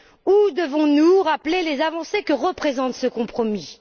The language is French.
Ou devons nous rappeler les avancées que représente ce compromis?